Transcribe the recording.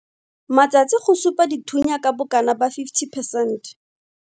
Matsatsi go supa dithunya ka bokana ba 50 percent.